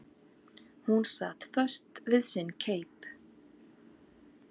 Hún sat föst við sinn keip.